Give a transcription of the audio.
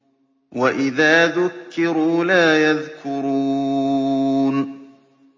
وَإِذَا ذُكِّرُوا لَا يَذْكُرُونَ